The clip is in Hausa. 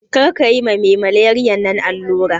Karka ma me malariyan nan allura